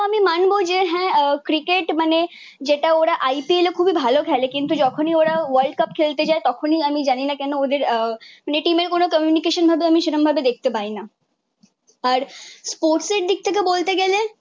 হ্যাঁ ক্রিকেট মানে যেটা ওরা IPL এ খুবই ভালো খেলে কিন্তু যখনই ওরা ওয়ার্ল্ডকাপ খেলতে যায় তখনই আমি জানিনা কেন ওদের আহ play team এর কোন কমিউনিকেশন ভাবে আমি সেরকমভাবে দেখতে পাই না। আর স্পোর্টসের দিক থেকে বলতে গেলে